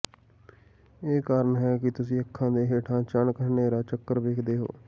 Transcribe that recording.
ਇਹੀ ਕਾਰਨ ਹੈ ਕਿ ਤੁਸੀਂ ਅੱਖਾਂ ਦੇ ਹੇਠਾਂ ਅਚਾਨਕ ਹਨੇਰਾ ਚੱਕਰ ਵੇਖਦੇ ਹੋ